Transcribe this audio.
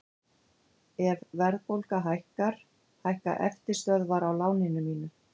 Ef verðbólga hækkar hækka eftirstöðvar á láninu mínu.